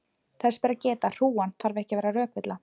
þess ber að geta að hrúgan þarf ekki að vera rökvilla